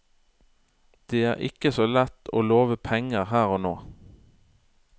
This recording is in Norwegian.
Det er ikke så lett å love penger her og nå.